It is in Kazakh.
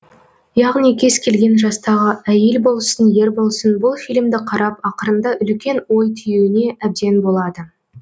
яғни кез келген жастағы әйел болсын ер болсын бұл фильмді қарап ақырында үлкен ой түюіне әбден болады